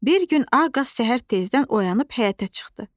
Bir gün ağ qaz səhər tezdən oyanıb həyətə çıxdı.